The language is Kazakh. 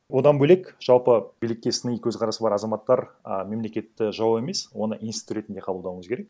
одан бөлек жалпы билікке сыни көзқарасы бар азаматтар а мемлекетті жау емес оны институт ретінде қабылдау керек